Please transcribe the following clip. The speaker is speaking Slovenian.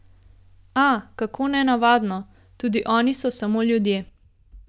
A, kako nenavadno, tudi oni so samo ljudje.